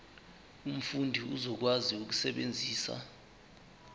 umfundi uzokwazi ukusebenzisa